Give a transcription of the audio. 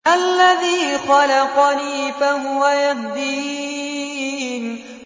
الَّذِي خَلَقَنِي فَهُوَ يَهْدِينِ